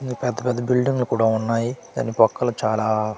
పెద్ద పెద్ద బిల్డింగ్లు కూడా ఉన్నాయి దాని పక్కలో చాలా .